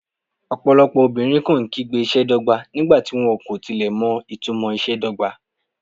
Ọ̀pọ̀lọpọ̀ obìnrin kàn án kígbe ìṣe dọ́gba nígbà tí wọ́n kò tilẹ̀ mọ ìtumò ìṣe dọ́gba.